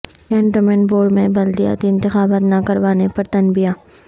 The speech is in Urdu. کنٹونمنٹ بورڈ میں بلدیاتی انتخابات نہ کروانے پر تنبیہہ